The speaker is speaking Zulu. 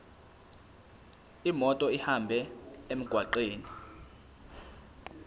imoto ihambe emgwaqweni